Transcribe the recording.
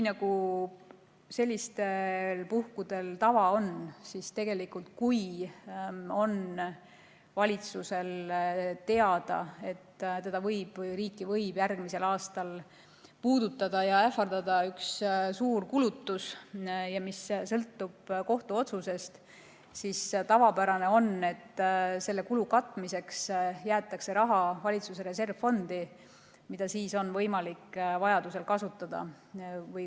Sellistel puhkudel on tavaks, et kui valitsusel on teada, et riiki võib järgmisel aastal ähvardada üks suur kulutus, mis sõltub kohtuotsusest, siis tavapärane on, et selle kulu katmiseks jäetakse raha valitsuse reservfondi, mida on võimalik vajaduse korral kasutada.